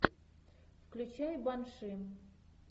включай банши